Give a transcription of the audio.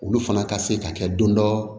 Olu fana ka se ka kɛ don dɔ